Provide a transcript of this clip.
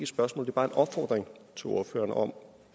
spørgsmål men bare en opfordring til ordføreren om